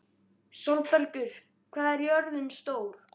Sólbergur, hvað er jörðin stór?